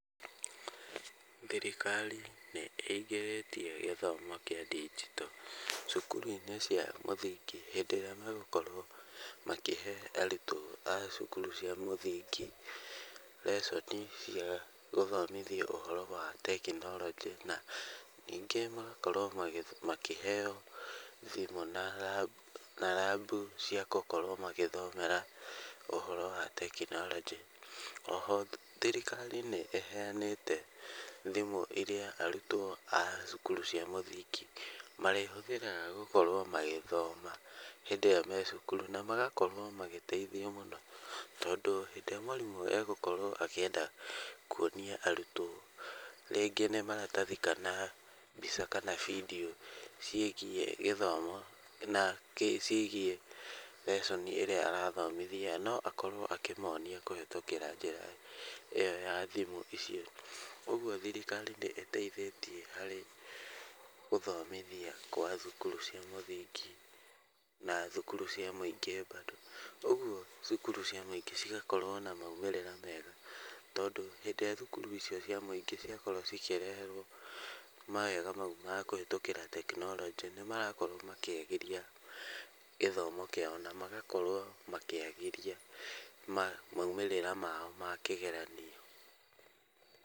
Thirikari nĩ ĩingĩrĩtie gĩthomo kĩa ndinjito cukuru-inĩ cia mũthingi hĩndĩ ĩrĩa megũkorwo makĩhe arutwo a cukuru cia mũthingi reconi cia gũthomithia ũhoro wa tekinoronjĩ na ningĩ magaokwo makĩheo thimũ na na rambu cia gũkorwo magĩthomera ũhoro wa tekinoronjĩ. Oho thirikari nĩ ĩheanĩte thimũ iria arutwo a cukuru cia mũthingi marĩhũthĩraga gũkorwo magĩthoma hĩndĩ ĩrĩa me cukuru na magakorwo na magakorwo magĩteithio mũno tondũ hĩndĩ ĩrĩa mwarimũ e gũkorwo akĩenda kuonia arutwo rĩngĩ nĩ maratathi kana mbica kana bindiũ ciĩgiĩ gĩthomo, ciĩgiĩ reconi ĩrĩa arathomithia no akorwo akĩmonia kũhetũkĩra njĩra ĩo ya thimũ icio. Ũguo thirikari nĩ ĩteithĩtie harĩ gũthomithia kwa thukuru cia mũthingi na thukuru cia mũingĩ mbandũ. Ũguo cukuru cia mũingĩ cigakorwo na maumĩrĩra tondũ hĩndĩ ĩrĩa thukuru icio cia mũingĩ ciakorwo cikĩreherwo mawega mau ma kũhetũkĩra tekinoronjĩ, nĩ marakorwo makĩagĩria gĩthomo kĩao na magakorwo makĩagĩria maumĩrĩra mao ma kĩgeranio.